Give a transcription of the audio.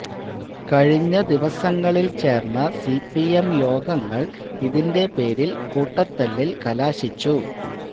കഴിഞ്ഞ ദിവസങ്ങളില് ചേര്ന്ന സിപിഎം യോഗങ്ങള് ഇതിന്റെ പേരില് കൂട്ടത്തല്ലില് കലാശിച്ചു